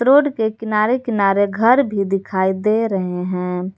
Road के किनारे किनारे घर भी दिखाई दे रहे हैं।